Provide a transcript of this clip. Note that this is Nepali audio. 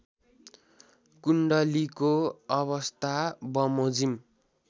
कुण्डलीको अवस्थाबमोजिम